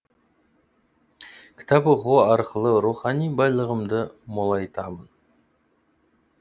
кітап оқу арқылы рухани байлығымды молайтамын